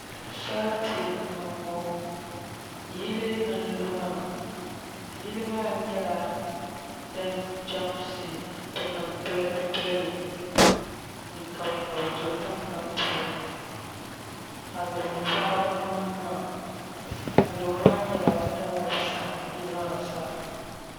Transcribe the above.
Sarati n niŋ ŋɔ yili n lu maa yili maa nyɛla din chɛmsi nim piligi piligi n kabi kabi do tingbani puuni alobo biɛɣu n niŋ maa alobo maa nyɛla din saɣam yili maa zaa